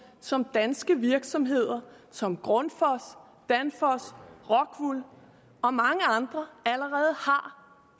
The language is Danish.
som danske virksomheder som grundfos danfoss rockwool og mange andre allerede har